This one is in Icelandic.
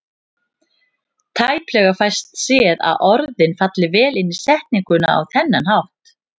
Tæplega fæst séð að orðin falli vel inn í setninguna á þennan hátt.